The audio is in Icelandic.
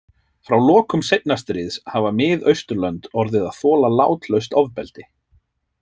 Frá lokum seinna stríðs hafa Mið-Austurlönd orðið að þola látlaust ofbeldi.